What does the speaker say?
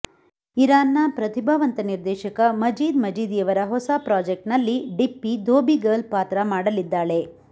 ಇರಾನ್ನ ಪ್ರತಿಭಾವಂತ ನಿರ್ದೇಶಕ ಮಜೀದ್ ಮಜೀದಿಯವರ ಹೊಸ ಪ್ರಾಜೆಕ್ಟ್ನಲ್ಲಿ ಡಿಪ್ಪಿ ಧೋಬಿ ಗರ್ಲ್ ಪಾತ್ರ ಮಾಡಲಿದ್ದಾಳೆ